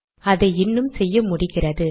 அதை இன்னும் செய்ய முடிகிறது